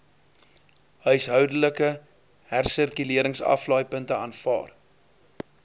huishoudelike hersirkuleringsaflaaipunte aanvaar